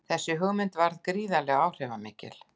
Þessi hugmynd varð gríðarlega áhrifamikil.